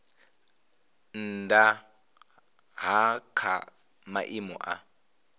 nnda ha kha maimo a